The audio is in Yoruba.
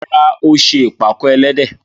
Rárá, ó ṣe ìpàkọ́ ẹlẹ́dẹ̀.